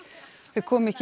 þau komu ekki